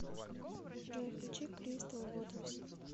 джой включи кристал вотерс